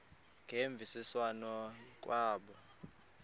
ngemvisiswano r kwabo